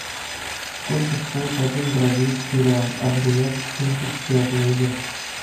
сколько стоит один бразильский реал обменять в фунты стерлинга